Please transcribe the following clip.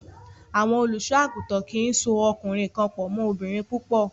Àwọn olùṣọ́-àgùntàn kì í so ọkùnrin kan pọ̀ mọ́ obìnrin púpọ̀.